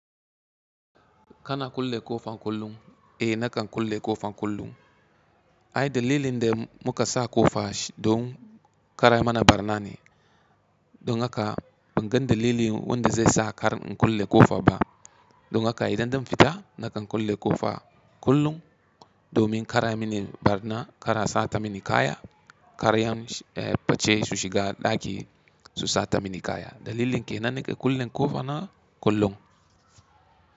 Kana kulle ƙofa kullum? Eh nakan kulle ƙofa kullum. Ai dalilin da muka sa ƙofa don kar a yi mana barna ne, dun haka ban gan dalili wanda zai sa kar in kulle ƙofa ba. Dun haka idan zan fita nakan kulle ƙofa kullum domin kar a mini barna, kar a sata mini kaya, kar yan fice su shiga ɗaki su sata mini kaya. Dalilin ke nan nake kulle ƙofa na kullum.